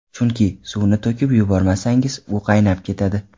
Chunki, suvni to‘kib yubormasangiz, u qaynab ketadi.